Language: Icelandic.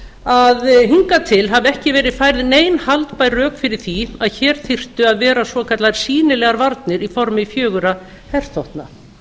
að hingað til hafi ekki verið færð nein haldbær rök fyrir því að hér þyrftu að vera svokallaðir sýnilegar varnir í formi fjögurra herþotna